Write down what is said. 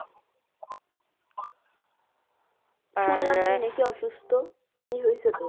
শুনলাম নাকি আপনি অসুস্থ। কি হয়েছে তোর?